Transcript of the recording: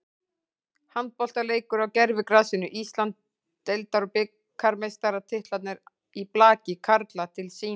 Handboltaleikur á gervigrasinu, Íslands- deildar og bikarmeistaratitlarnir í blaki karla til sýnis.